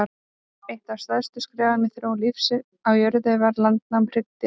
Eitt af stærstu skrefum í þróun lífs á jörðunni var landnám hryggdýra.